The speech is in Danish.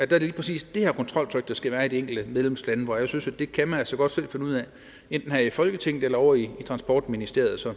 det lige præcis det her kontroltryk der skal være i de enkelte medlemslande for jeg synes at det kan man altså godt selv finde ud af enten her i folketinget eller ovre i transportministeriet så